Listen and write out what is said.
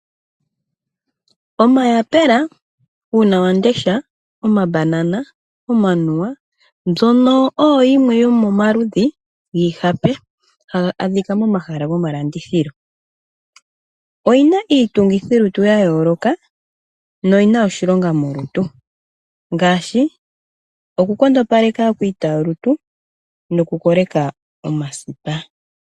Omayapela, Uunawandesha, Omabanana, Omanuwa mbyono oyo yimwe yomomaludhi giihape haga adhika momahala gomalandithilo. Oyina iitungithilutu yayooloka noyina oshilonga molutu ngaashi oku nkondopaleka aakwiitayolutu mokukoleka omasipa.